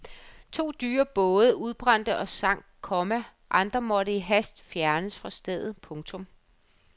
To dyre både udbrændte og sank, komma andre måtte i hast fjernes fra stedet. punktum